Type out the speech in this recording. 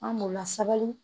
An b'o la sabali